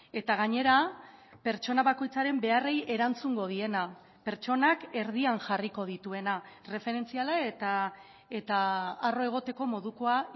eta gainera pertsona bakoitzaren beharrei erantzungo diena pertsonak erdian jarriko dituena erreferentziala eta arro egoteko modukoa